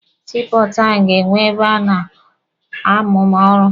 Sii pọọtụ ahụ ga-enwe ebe a na+amụ ọrụ.